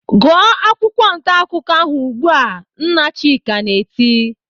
"Gụọ akwụkwọ ntaakụkọ ahụ ugbu a!" Nna Chika na-eti.